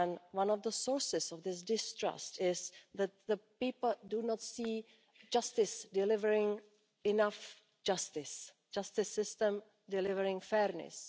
One of the sources of this distrust is that the people do not see justice delivering enough justice the justice system delivering fairness.